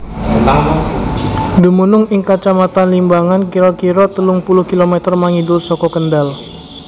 Dumunung ing Kacamatan Limbangan kira kira telung puluh km mangidul saka Kendal